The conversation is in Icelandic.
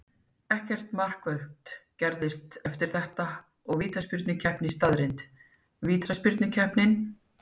Ekkert markvert gerðist eftir þetta og vítaspyrnukeppni staðreynd. Vítaspyrnukeppnin: